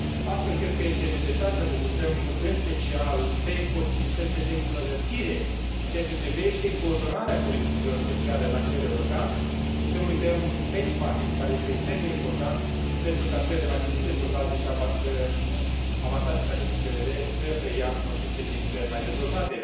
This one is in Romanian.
Astfel, cred că este necesar să focusăm în special pe posibilitățile de îmbunătățire în ceea ce privește coordonarea politicilor sociale la nivel european și să nu uităm benchmarking ul, care este extrem de important pentru ca țările mai puțin dezvoltate și avansate din acest punct de vedere să preia cunoștințe din țări mai dezvoltate.